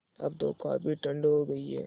अब तो काफ़ी ठण्ड हो गयी है